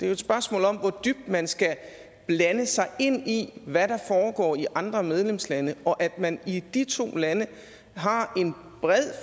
jo et spørgsmål om hvor dybt man skal blande sig i hvad der foregår i andre medlemslande og at man i de to lande har en bred